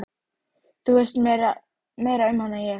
Þú veist meira um hana en ég.